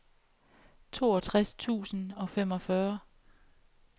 toogtres tusind og femogfyrre